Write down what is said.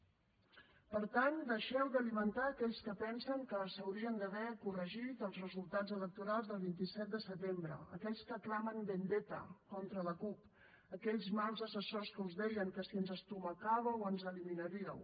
per tant deixeu d’alimentar aquells que pensen que s’haurien d’haver corregit els resultats electorals del vint set de setembre aquells que clamen vendetta contra la cup aquells mals assessors que us deien que si ens estomacàveu ens eliminaríeu